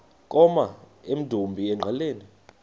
koma emdumbi engqeleni